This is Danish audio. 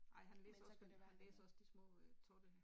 Men så kunne det være han øh